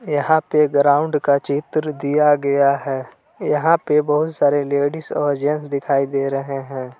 यहां पे ग्राउंड का चित्र दिया गया है यहां पे बहुत सारे लेडिस और जेंट्स दिखाई दे रहे हैं।